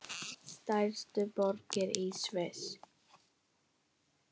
Stærstu borgir í Sviss